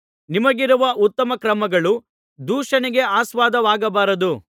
ನಿಮಗಿರುವ ಉತ್ತಮ ಕ್ರಮಗಳು ದೂಷಣೆಗೆ ಆಸ್ಪದವಾಗಬಾರದು